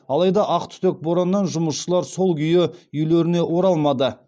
алайда ақтүтек бораннан жұмысшылар сол күйі үйлеріне оралмады